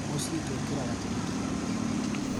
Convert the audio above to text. Mũciĩ tũkĩraga tene tũgĩthiĩ wĩra.